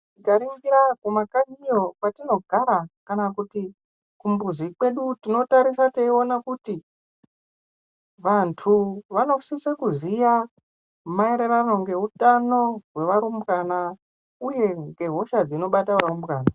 Tikaringira kumakanyiyo kwatinogara kana kuti kumbuzi kwedu. Tinotarisa teiona kuti vantu vanosisa kuziya maererano ngeutano hwevarumbana, uye ngehosha dzinobata varumbwana.